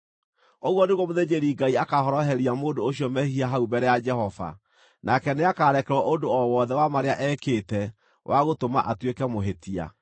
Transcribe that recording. Ũguo nĩguo mũthĩnjĩri-Ngai akaahoroheria mũndũ ũcio mehia hau mbere ya Jehova, nake nĩakarekerwo ũndũ o wothe wa marĩa ekĩte wa gũtũma atuĩke mũhĩtia.”